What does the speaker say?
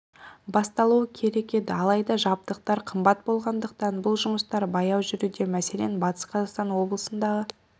басталуы керек еді алайда жабдықтар қымбат болғандықтан бұл жұмыстар баяу жүруде мәселен батыс қазақстан облысындағы